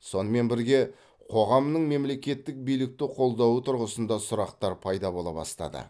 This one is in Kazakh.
сонымен бірге қоғамның мемлекеттік билікті қолдауы тұрғысында сұрақтар пайда бола бастады